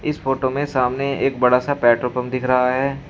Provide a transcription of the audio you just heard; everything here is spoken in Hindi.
इस फोटो में सामने एक बड़ा सा पेट्रोल पंप दिख रहा है।